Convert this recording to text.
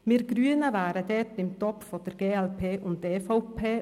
Wir Grünen wären da im Topf mit der glp und der EVP.